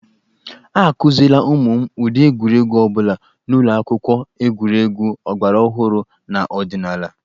A kụziele ụmụ m ụdị egwuregwu ọ bụla n'ụlọ akwụkwọ, egwuregwu ọgbaraọhụrụ na ọdịnaala.